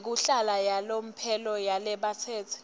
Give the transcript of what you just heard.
yekuhlala yalomphelo yalabatsetse